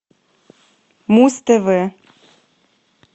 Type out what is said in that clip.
муз тв